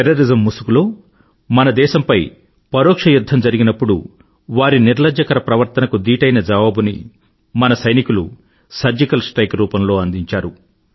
terrorism ముసుగులో మన దేశంపై పరోక్ష యుధ్ధం జరిగినప్పుడు వారి నిర్లజ్జకర ప్రవర్తనకు దీటైన జవాబుని మన సైనికులు సర్జికల్ స్ట్రైక్ రూపంలో అందించారు